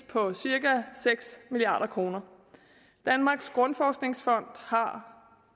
på cirka seks milliard kroner danmarks grundforskningsfond har